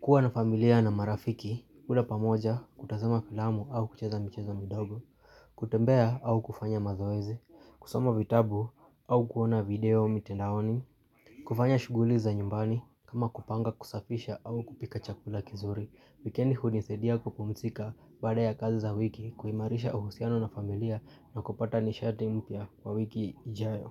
kuwa na familia na marafiki, kula pamoja, kutazama filamu au kucheza michezo midogo, kutembea au kufanya mazoezi, kusoma vitabu au kuona video mitandaoni, kufanya shughuli za nyumbani, kama kupanga, kusafisha au kupika chakula kizuri. Wikendi hunisaidia kupumzika baada ya kazi za wiki, kuimarisha uhusiano na familia na kupata nishati mpya wa wiki ijayo.